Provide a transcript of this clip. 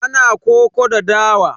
Ana koko da dawa.